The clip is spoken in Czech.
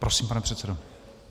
Prosím, pane předsedo.